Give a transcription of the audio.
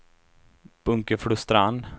Bunkeflostrand